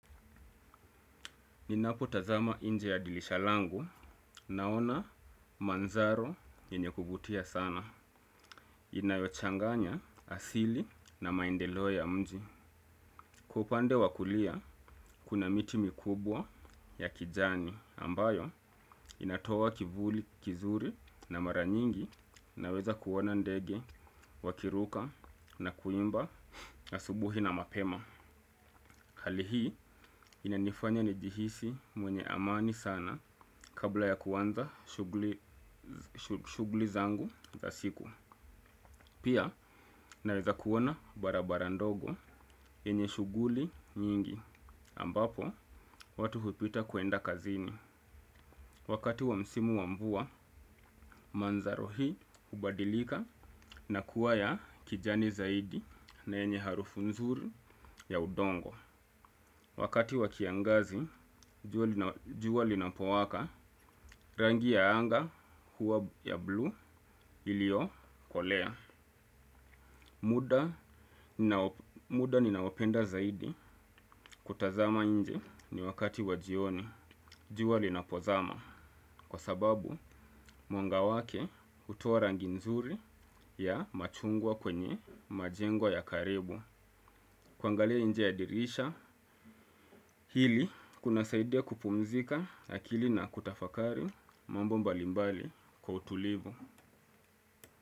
Ninapo tazama nje ya dirisha langu naona mandhari yenye kuvutia sana. Inayochanganya asili na maendeleo ya mji. Kwa upande wa kulia kuna miti mikubwa ya kijani ambayo inatoa kivuli kizuri na mara nyingi naweza kuona ndege wakiruka na kuimba na asubuhi na mapema. Hali hii inanifanya nijihisi mwenye amani sana kabla ya kuanza shughuli zangu za siku. Pia naweza kuona barabara ndogo yenye shughuli nyingi. Ambapo watu hupita kwenda kazini. Wakati wa msimu wa mvua, mandhari hii hubadilika na kuwa ya kijani zaidi na yenye harufu nzuri ya udongo. Wakati wa kiangazi, jua linapowaka rangi ya anga huwa ya blue iliokolea. Muda ninaopenda zaidi kutazama nje ni wakati wa jioni. Jua linapozama, kwa sababu mwanga wake hutoa rangi nzuri ya machungwa kwenye majengo ya karibu. Kuangalie nje ya dirisha, hili kuna saidia kupumzika akili na kutafakari mambo mbalimbali kwa utulivu.